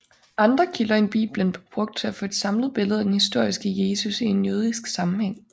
Andre kilder end Bibelen blev brugt til at få et samlet billede af den historiske Jesus i en jødisk sammenhæng